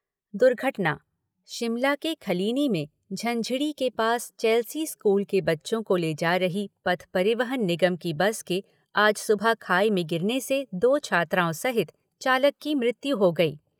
दुर्घटना शिमला के खलीनी में झंझीड़ी के पास चैल्सी स्कूल के बच्चों को ले जा रही पथ परिवहन निगम की बस के आज सुबह खाई में गिरने से दो छात्राओं सहित चालक की मृत्यु हो गई।